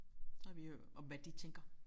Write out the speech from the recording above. Så har vi hørt om hvad de tænker